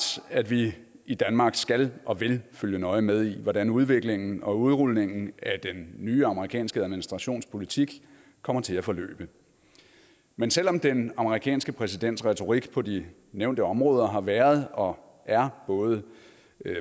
at vi i danmark skal og vil følge nøje med i hvordan udviklingen og udrulningen af den nye amerikanske administrations politik kommer til at forløbe men selv om den amerikanske præsidents retorik på de nævnte områder har været og er både